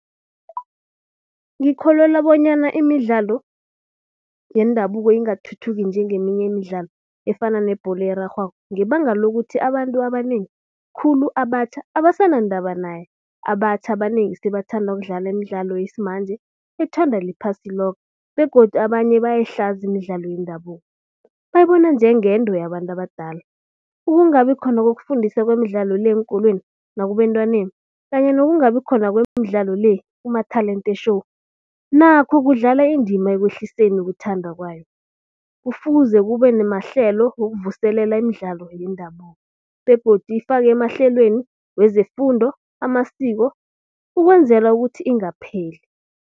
Ngikholelwa bonyana imidlalo yendabuko ingathuthuki njengeminye imidlalo efana nebholo erarhwako ngebanga lokuthi abantu abanengi khulu abatjha abasanandaba nayo. Abatjha abanengi sebathanda nokudlalwa imidlalo yesimanje ethanda liphasi loke begodu abanye bayayihlaza imidlalo yendabuko bayibona njengento yabantu abadala. Ukungabi khona kokufundiswa kwemidlalo le eenkolweni nakubentwaneni kanye nokungabi khona kwemidlalo le kuma-talent show nakho kudlala indima ekwehliseni uyakuthanda kwayo. Kufuze kube namahlelo ukuvuselela imidlalo yendabuko begodu ifaka emahlelweni wezefundo amasiko ukwenzela ukuthi ingapheli.